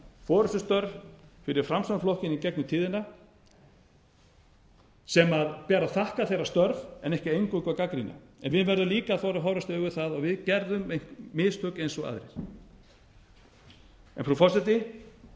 forustustörf fyrir framsóknarflokkinn í gegnum tíðina sem ber að þakka þeirra störf en ekki eingöngu að gagnrýna en við verðum líka að þora að horfast í augu við það að við gerðum mistök eins og aðrir frú forseti